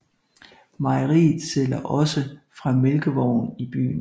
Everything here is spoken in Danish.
Mejeriet sælger også fra mælkevogn i byen